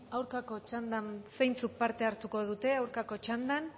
aurkako txandan zeintzuk parte hartuko dute aurkako txandan